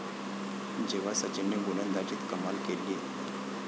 ...जेव्हा सचिनने गोलंदाजीत कमाल केली